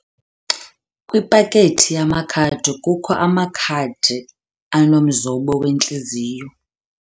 Kwipakethi yamakhadi kukho amakhadi anomzombo wentliziyo.